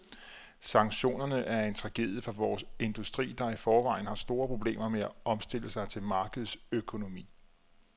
Sanktionerne er en tragedie for vores industri, der i forvejen har store problemer med at omstille sig til markedsøkonomi.